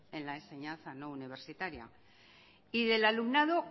en la enseñanza no universitaria y del alumnado